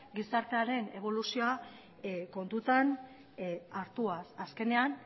gizartearen eboluzioa kontutan hartuaz azkenean